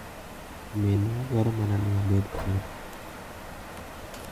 "Minwa dwaro mana ni abed kodi."